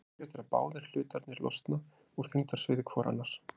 Það sem gerist er að báðir hlutarnir losna úr þyngdarsviði hvor annars.